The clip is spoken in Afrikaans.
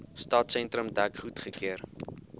stadsentrum dek goedgekeur